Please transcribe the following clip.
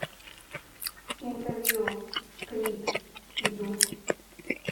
интервью крид и дудь